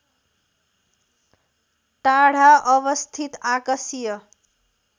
टाढा अवस्थित आकाशीय